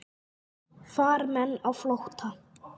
Farmenn á flótta